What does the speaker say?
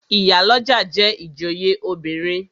Ìyálọ́jà jẹ́ ìjòyè obìnrin.